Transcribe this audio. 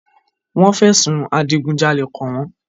Wọ́n fẹ̀sùn Adigun jalè kan wọ́n